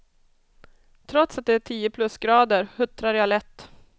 Trots att det är tio plusgrader huttrar jag lätt.